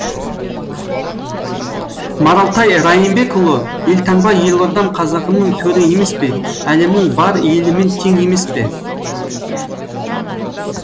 маралтай райымбекұлы елтаңба елордам қазағымның төрі емес пе әлемнің бар елімен тең емес пе